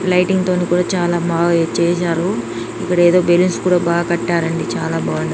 Lighting తోని కూడా చాలా బాగా చేశారు. ఇక్కడ ఏదో బెలూన్స్ కూడా బాగా కట్టారండి చాలా బాగుంది.